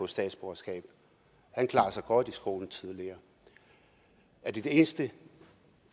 statsborgerskab han klarede sig godt i skolen tidligere er det det eneste